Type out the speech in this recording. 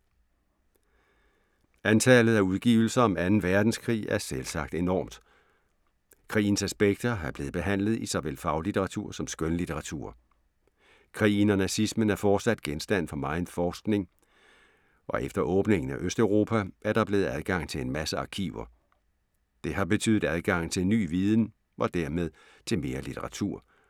Antallet af udgivelser om 2. Verdenskrig er selvsagt enormt. Krigens aspekter er blevet behandlet i såvel faglitteratur som skønlitteratur. Krigen og nazismen er fortsat genstand for megen forskning, og efter åbningen af Østeuropa, er der blevet adgang til en masse arkiver. Det har betydet adgang til ny viden og dermed til mere litteratur.